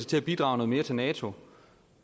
til at bidrage noget mere til nato